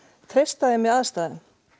treysta þeim í aðstæðunum